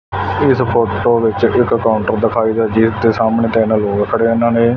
ਤੇ ਇਸ ਫੋਟੋ ਵਿੱਚ ਇੱਕ ਕਾਊਂਟਰ ਦਿਖਾਈ ਦੇ ਜਿਹਦੇ ਸਾਹਮਣੇ ਤਿੰਨ ਲੋਕ ਖੜੇ ਉਹਨਾ ਨੇ।